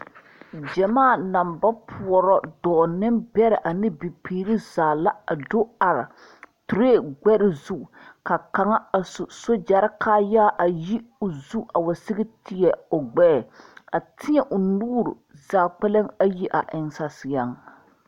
Gyamaa naŋ ba poɔrɔ dɔɔnembɛrɛ ane bibiiri zaa la a do are tireni gbɛre zu ka kaŋa a su soogyɛre kaayaa a yi o zu a wa sigi teɛ o gbɛɛ a teɛŋ o nuuri zaa kpɛlɛŋ ayi a eŋ saseɛŋ.